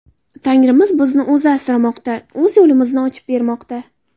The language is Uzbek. Tangrimiz bizni O‘zi asramoqda, O‘zi yo‘limizni ochib bermoqda”.